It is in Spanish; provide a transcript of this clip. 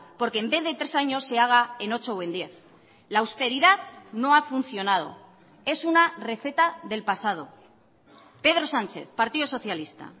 porque en vez de tres años se haga en ocho o en diez la austeridad no ha funcionado es una receta del pasado pedro sánchez partido socialista